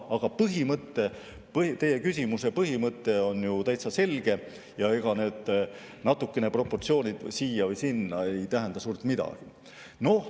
Aga teie küsimuse mõte on ju täitsa selge ja ega need proportsioonid natukene siia või sinna ei tähenda suurt midagi.